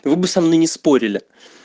либо со мной не спорили